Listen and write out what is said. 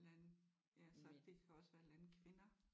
Land ja så det kan også være landkvinder